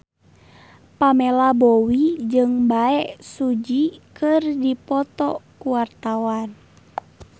Pamela Bowie jeung Bae Su Ji keur dipoto ku wartawan